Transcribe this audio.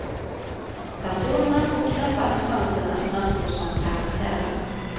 Personerna får knappast chansen att framstå som karaktärer.